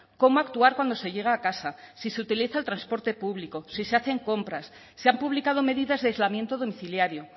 cómo actuar cuando se llega a casa si se utiliza el transporte público si se hacen compras se han publicado medidas de aislamiento domiciliario